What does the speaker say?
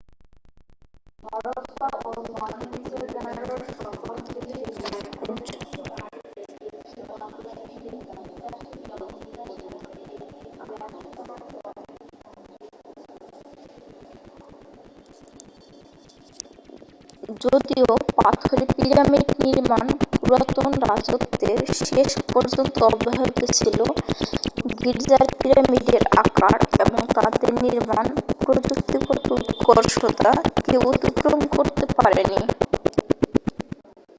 যদিও পাথরে পিরামিড নির্মাণ পুরাতন রাজত্বের শেষ পর্যন্ত অব্যাহত ছিল গিজার পিরামিডের আকার এবং তাদের নির্মাণ প্রযুক্তিগত উৎকর্ষতা কেউ অতিক্রম করতে পারেনি